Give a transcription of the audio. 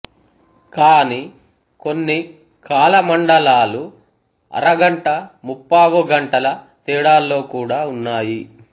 కానీ కొన్ని కాల మండలాలు అరగంట ముప్పావుగంటల తేడాల్లో కూడా ఉన్నాయి